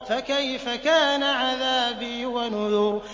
فَكَيْفَ كَانَ عَذَابِي وَنُذُرِ